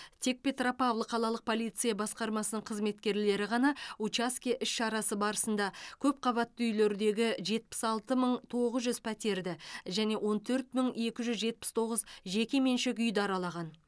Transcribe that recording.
тек петропавл қалалық полиция басқармасының қызметкерлері ғана учаске іс шарасы барысында көпқабатты үйлердегі жетпіс алты мың тоғыз жүз пәтерді және он төрт мың екі жүз жетпіс тоғыз жеке меншік үйді аралаған